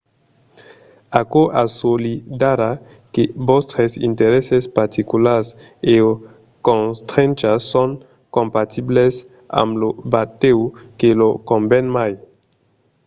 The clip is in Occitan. aquò assolidarà que vòstres interèsses particulars e/o constrenchas son compatibles amb lo batèu que lor conven mai